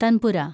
tanpura